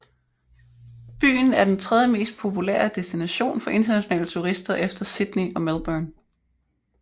Byen er den tredjemest populære destination for internationale turister efter Sydney og Melbourne